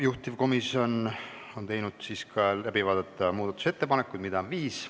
Juhtivkomisjon on teinud ettepaneku läbi vaadata muudatusettepanekud, mida on viis.